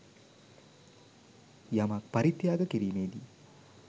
යමක් පරිත්‍යාග කිරීමේදී